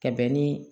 Ka bɛn ni